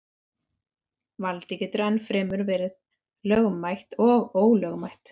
Valdið getur enn fremur verið lögmætt eða ólögmætt.